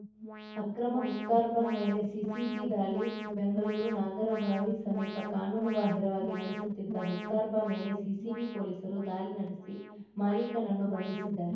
ಅಕ್ರಮ ಹುಕ್ಕಾರ್ಬಾ ಮೇಲೆ ಸಿಸಿಬಿ ದಾಳಿ ಬೆಂಗಳೂರು ನಾಗರಬಾವಿ ಸಮೀಪ ಕಾನೂನು ಬಾಹಿರವಾಗಿ ನಡೆಸುತ್ತಿದ್ದ ಹುಕ್ಕಾರ್ಬಾ ಮೇಲೆ ಸಿಸಿಬಿ ಪೊಲೀಸರು ದಾಳಿ ನಡೆಸಿ ಮಾಲೀಕನನ್ನು ಬಂಧಿಸಿದ್ದಾರೆ